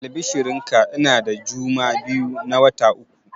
Albishirin ka, ina da juma biyu na wata uku